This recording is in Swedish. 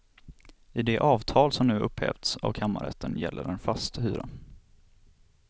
I det avtal som nu upphävts av kammarrätten gäller en fast hyra.